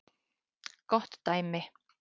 Gott dæmi